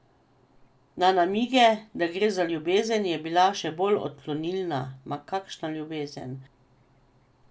Na namige, da gre za ljubezen, je bila še bolj odklonilna: "Ma, kakšna ljubezen!